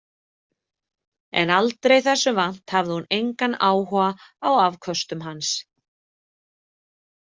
En aldrei þessu vant hafði hún engan áhuga á afköstum hans.